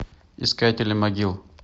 искатели могил